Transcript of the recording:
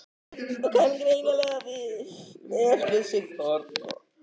Og kann greinilega vel við sig þarna!